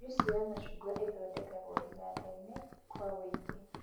Njuici ya macungwa ĩthondekagwo iganda-inĩ kũa wũingĩ